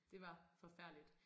Det var forfærdeligt